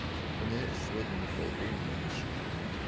в универ сегодня не пойду не зачем